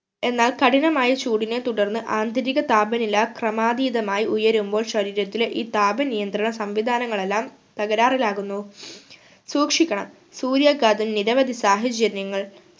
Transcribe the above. എന്നാൽ കഠിനമായ ചൂടിനെ തുടർന്ന് ആന്തരിക താപനില ക്രമാതീതമായി ഉയരുമ്പോൾ ശരീരത്തിലെ ഈ താപനിയന്ത്രണ സംവിധാനങ്ങളെല്ലാം തകരാറിലാകുന്നു സൂക്ഷിക്കണം സൂര്യാഘാതം നിരവധി സാഹചര്യങ്ങൾ